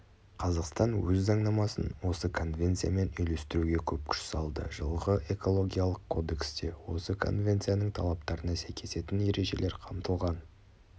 қазақстан өз заңнамасын осы конвенциямен үйлестіруге көп күш салды жылғы экологиялық кодексте осы конвенцияның талаптарына сәйкесетін ережелер қамтылған